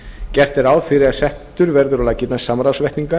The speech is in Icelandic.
gert er ráð fyrir að settur verði á laggirnar samráðsvettvangur